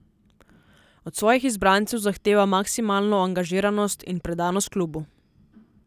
Od svojih izbrancev zahteva maksimalno angažiranost in predanost klubu.